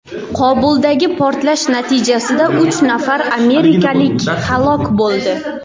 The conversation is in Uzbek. Qobuldagi portlash natijasida uch nafar amerikalik halok bo‘ldi.